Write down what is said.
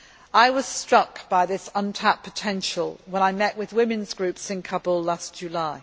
I was struck by this untapped potential when I met with women's groups in Kabul last July.